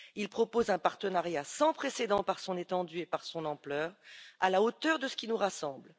il propose un partenariat sans précédent par son étendue et par son ampleur, à la hauteur de ce qui nous rassemble.